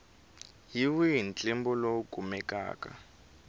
hi wihi ntlimbo lowu kumekaka